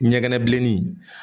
Ɲɛgɛn bilennin